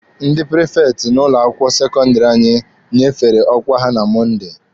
Ndị prifekti n'ụlọ akwụkwọ sekọndịrị anyị nyefere ọkwa ha na Mọnde.